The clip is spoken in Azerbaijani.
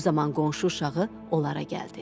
Bu zaman qonşu uşağı onlara gəldi.